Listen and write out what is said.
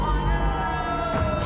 əs-Saləh!